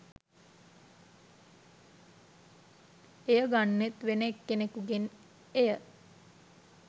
එය ගන්නෙත් වෙන එක්කෙනෙකුගෙන් එය